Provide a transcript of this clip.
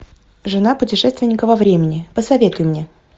жена путешественника во времени посоветуй мне